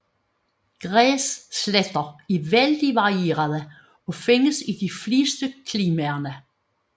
Græssletter er vældig varierede og findes i de fleste klimaer